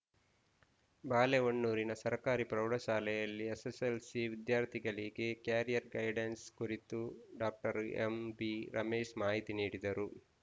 ಬಾಳೆಹೊನ್ನೂರಿನ ಸರ್ಕಾರಿ ಪ್ರೌಢಶಾಲೆಯಲ್ಲಿ ಎಸ್ಸೆಸ್ಸೆಲ್ಸಿ ವಿದ್ಯಾರ್ಥಿಗಳಿಗೆ ಕೆರಿಯರ್‌ ಗೈಡೆನ್ಸ್‌ ಕುರಿತು ಡಾಕ್ಟರ್ ಎಂಬಿರಮೇಶ್‌ ಮಾಹಿತಿ ನೀಡಿದರು